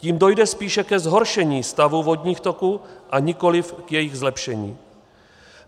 Tím dojde spíše ke zhoršení stavu vodních toků a nikoliv k jejich zlepšení.